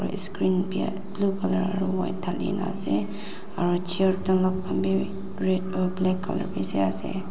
aro isscreen bi blue colour aro white dhalina asey aro chair uh black colour bishi asey.